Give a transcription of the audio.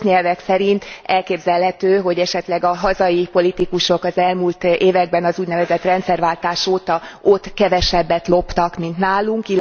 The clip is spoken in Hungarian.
A rossz nyelvek szerint elképzelhető, hogy esetleg a hazai politikusok az elmúlt években az úgynevezett rendszerváltás óta ott kevesebbet loptak, mint nálunk.